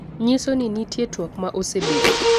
nyiso ni nitie twak ma osebedo